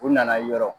U nana yɔrɔ